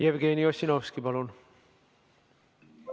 Rohkem küsimusi ettekandjale ei ole, saame avada läbirääkimised.